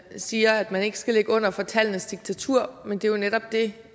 siger at man ikke skal ligge under for tallenes diktatur men det er jo netop det